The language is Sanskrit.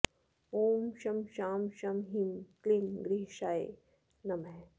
ॐ शं शां षं ह्रीं क्लीं ग्रहेशाय नमः